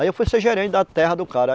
Aí eu fui ser gerente da terra do cara.